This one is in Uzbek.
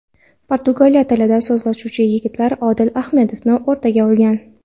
Portugal tilida so‘zlashuvchi yigitlar Odil Ahmedovni o‘rtaga olgan.